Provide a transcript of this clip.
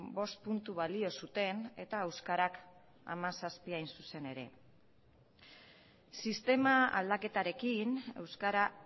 bost puntu balio zuten eta euskarak hamazazpi hain zuzen ere sistema aldaketarekin euskara